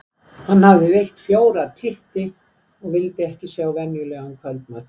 Hann hafði veitt fjóra titti og vildi ekki sjá venjulegan kvöldmat.